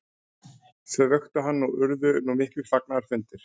Þau vöktu hann og urðu nú miklir fagnaðarfundir.